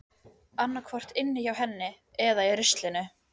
Annaðhvort inni hjá henni eða í ruslinu.